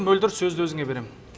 мөлдір сөзді өзіңе берем